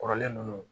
Kɔrɔlen ninnu